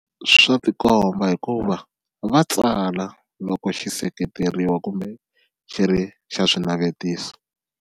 Swa tikomba hikuva va tsala loko xi seketeriwa kumbe xi ri xa swinavetiso.